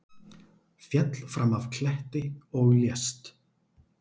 Féll fram af kletti og lést